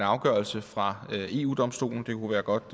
afgørelse fra eu domstolen det kunne være godt